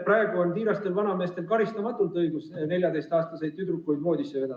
Praegu on tiirastel vanameestel karistamatult õigus 14‑aastaseid tüdrukuid voodisse vedada.